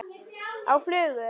Á flugu?